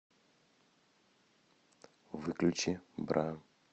выключи бра